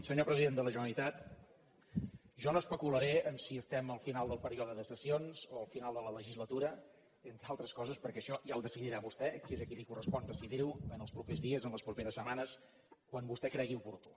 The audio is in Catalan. senyor president de la generalitat jo no especularé amb si estem al final del període de sessions o al final de la legislatura entre altres coses perquè això ja ho decidirà vostè que és a qui li correspon decidir ho en els propers dies en les properes setmanes quan vostè ho cregui oportú